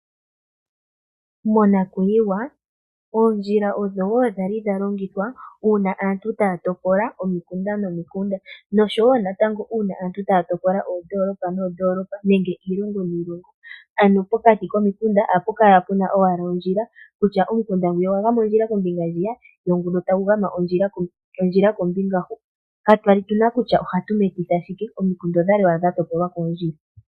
Monakuyiwa oondjila odho woo dhali dhalingithwa kaantu taya tokola omikunda nomikunda noshowo uuna aantu tayazi koondoolopa noondoolopa nenge pokati konikunda ohapu kala owala puna ondjila kutya omukunda gumwe ogwgama ondjila kombinga hwiya go gumwe ogwagama kombinga huka. omukunda odhali owala dha topolwa koondjila.